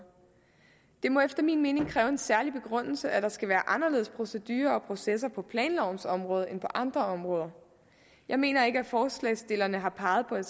det må efter min mening kræve en særlig begrundelse at der skal være anderledes procedurer og processer på planlovens område end på andre områder jeg mener ikke at forslagsstillerne har peget på en